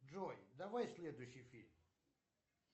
джой давай следующий фильм